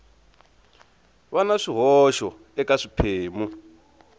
va na swihoxo eka swiphemu